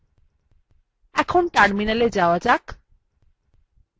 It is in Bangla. এখন terminalএ যাওয়া যাক